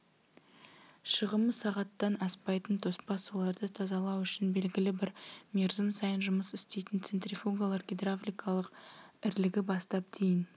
шығымы сағаттан аспайтын тоспа суларды тазалау үшін белгілі бір мерзім сайын жұмыс істейтін центрифугалар гидравликалық ірілігі бастап дейін